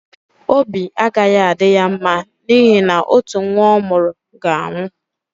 Obi agaghị adị ya mma n’ihi na otu nwa ọ mụrụ ga-anwụ.